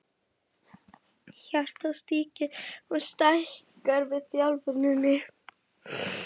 Hjartað styrkist og stækkar við þjálfunina.